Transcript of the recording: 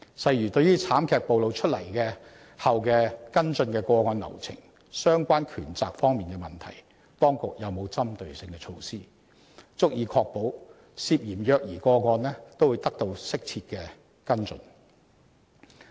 例如，對於慘劇暴露出關於跟進個案流程及相關權責方面的問題，當局有否針對性措施，足以確保涉嫌虐兒個案均會得到適切跟進？